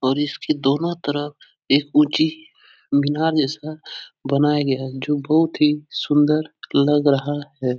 और इसके दोनों तरफ एक ऊँची मीनार जैसा बनाया गया जो बोहोत ही सुन्दर लग रहा है।